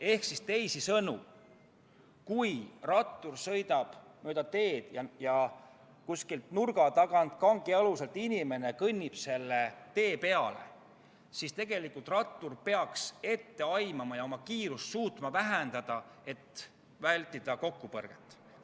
Ehk teisisõnu, kui rattur sõidab mööda teed ja kuskilt nurga tagant või kangialusest kõnnib inimene selle tee peale, siis peaks rattur seda ette aimama ja suutma kiirust vähendada, et vältida kokkupõrget.